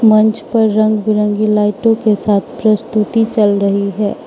मंच पर रंग बिरंगी लाइटों के साथ प्रस्तुति चल रही है।